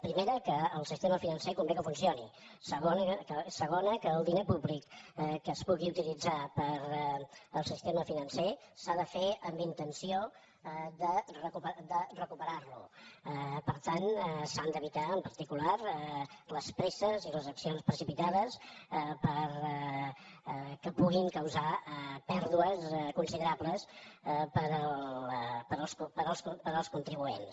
primera que el sistema financer convé que funcioni segona que el diner públic que es pugui utilitzar per al sistema financer s’ha de fer amb intenció de recuperar lo per tant s’han d’evitar en particular les presses i les accions precipitades que puguin causar pèrdues considerables per als contribuents